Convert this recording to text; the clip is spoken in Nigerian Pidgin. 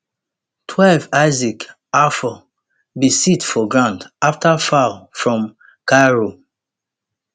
twelve isaac afful bin sit for ground afta foul from kairou